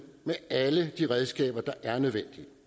med alle de redskaber der er nødvendige